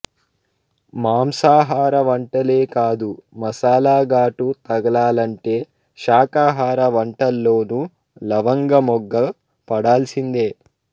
మాంసాహార వంటలే కాదు మసాలా ఘాటు తగలాలంటే శాకాహార వంటల్లోనూ లవంగమొగ్గ పడాల్సిందే